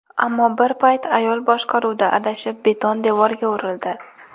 Ammo bir payt ayol boshqaruvda adashib, beton devorga urildi.